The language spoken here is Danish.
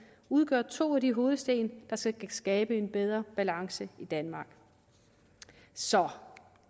udgør to af de hovedsten der skal skabe en bedre balance i danmark så